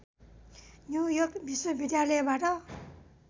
New York विश्वविद्यालयबाट